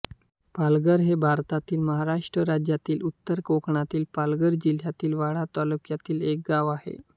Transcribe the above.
पाचघर हे भारतातील महाराष्ट्र राज्यातील उत्तर कोकणातील पालघर जिल्ह्यातील वाडा तालुक्यातील एक गाव आहे